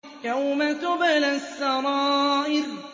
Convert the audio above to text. يَوْمَ تُبْلَى السَّرَائِرُ